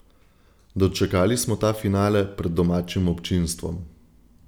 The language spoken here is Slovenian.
Dočakali smo ta finale pred domačim občinstvom.